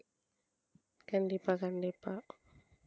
கண்டிப்பா கண்டிப்பா